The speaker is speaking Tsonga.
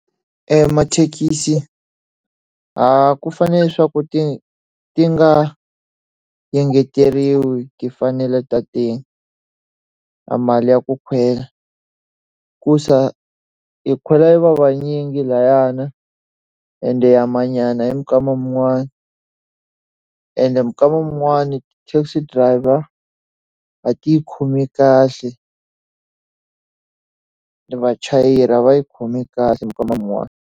Emathekisi ku fanele leswaku ti ti nga engeteriwi timfanelo ta amali ya ku kwela. Kuza hi khweza hi ri vavanyingi lahayana ende ya ha manyana hi minkama yin'wanyana. Ende minkama yin'wana taxi driver-a a ti hi khomi kahle, vachayeri a va hi khomi kahle minkama yin'wana.